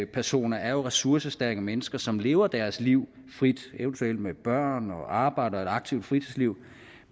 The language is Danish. personer er jo ressourcestærke mennesker som lever deres liv frit eventuelt med børn og arbejde og et aktivt fritidsliv